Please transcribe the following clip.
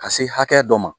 Ka se hakɛ dɔ ma